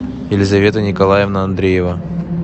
елизавета николаевна андреева